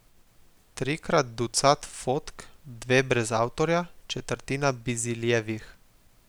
Trikrat ducat fotk, dve brez avtorja, četrtina Biziljevih.